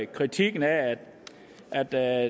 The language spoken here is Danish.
kritikken af at der